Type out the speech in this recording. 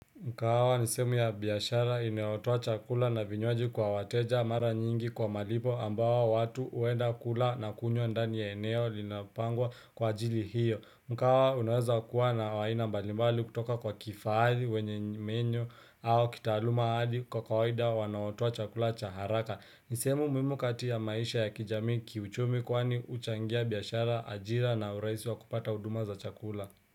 Mkahawa ni sehemu ya biashara inayotua chakula na vinywaji kwa wateja mara nyingi kwa malipo ambawo watu huenda kula na kunywa ndani ya eneo linapangwa kwa ajili hiyo. Mkahawa unaweza kuwa na aina mbalimbali kutoka kwa kifahari wenye menyo au kitaaluma ali kwa kawaida wanaotoa chakula cha haraka. Ni sehemu muhimu kati ya maisha ya kijamii kiuchumi kwani huchangia biashara ajira na urahisi wa kupata huduma za chakula.